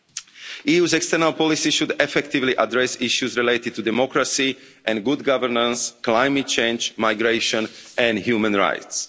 The EU's external policy should effectively address issues related to democracy and good governance, climate change, migration and human rights.